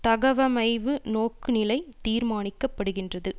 தகவமைவு நோக்குநிலை தீர்மானிக்கப்படுகின்றது